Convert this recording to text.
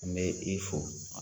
N bɛ i fo